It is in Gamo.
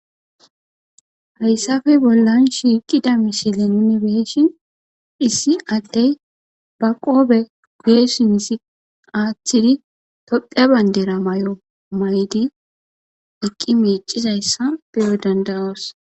hayssafe bollan shiiqida mishile nunebeeshin issi attey ba qoobe guyesi misi aaththidi topheya bayndera may7o maydi eqqi miicizayssa beyo dandaroos